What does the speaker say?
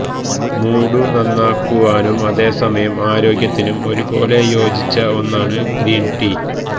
mood നന്നാക്കുവാനും അതേ സമയം ആരോഗ്യത്തിനും ഒരുപോലെ യോജിച്ച ഒന്നാണ് ഗ്രീന് ടീ